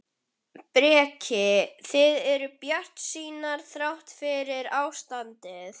Breki: Þið eruð bjartsýnar þrátt fyrir ástandið?